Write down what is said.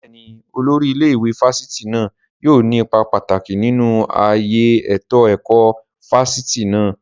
Bẹ́ẹ̀ni, Olórí ilé ìwé fásitì náà yóò ní ipa pàtàkì nínú ayé ètò ẹ̀kọ́ fáfitì náà